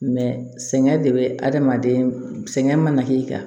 sɛgɛn de bɛ adamaden sɛgɛn mana k'i kan